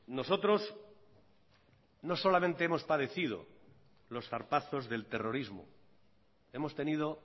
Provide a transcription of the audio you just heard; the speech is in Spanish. nosotros no solamente hemos parecido los zarpazos del terrorismo hemos tenido